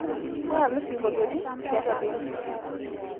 tatalu singoliotin tiatua bendi